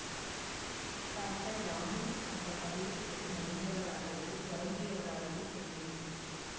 doctor Ramli அந்த பதிலைக் கேட்டு மகிழ்ந்தவராகவோ வருந்தியவராகவோ தெரியவில்லை